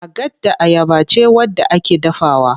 Agada ayaba ce wadda ake dafawa.